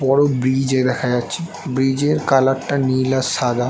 বড়ো ব্রিজ - ও দেখা যাচ্ছেব্রিজ এর কালার - টা নীল আর সাদা।